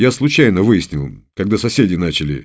я случайно выяснил когда соседи начали